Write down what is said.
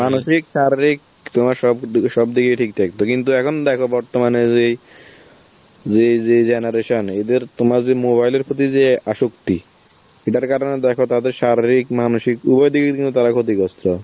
মানসিক, শারীর তোমার সব দি~ সব দিকে ঠিক থাকতো, কিন্তু এখন দেখো বর্তমানে যেই~ যেই যে generation, এদের~ তোমার যে mobile এর প্রতি যে আসক্তি, সেটার কারণে দেখো তাদের শারীরিক, মানসিক উভদিক কিন্তু তারা ক্ষতিগ্রস্ত.